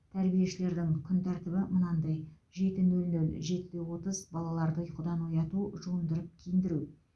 тәрбиешілердің күн тәртібі мынадай жеті нөл нөл жетіде отыз балаларды ұйқыдан ояту жуындырып киіндіру